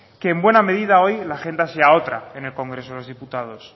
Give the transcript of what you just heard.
que en buena medida hoy la agenda sea otra en el congreso de los diputados